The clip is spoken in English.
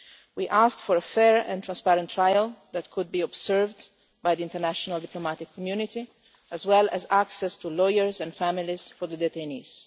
We asked for a fair and transparent trial that could be observed by the international diplomatic community, as well as access to lawyers and families for the detainees.